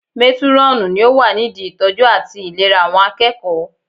Métúrọ̀nù ni ó wà nídi ìtọ́jú àti ìlera àwọn akẹ́kọ̀ọ́